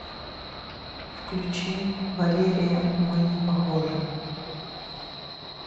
включи валерия мы не похожи